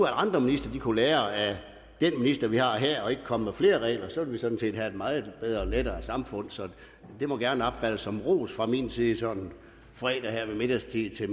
andre ministre kunne lære af den minister vi har her og ikke komme med flere regler så ville vi sådan set have et meget bedre og lettere samfund det må gerne opfattes som en ros fra min side sådan en fredag her ved middagstid